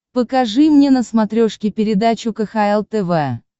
покажи мне на смотрешке передачу кхл тв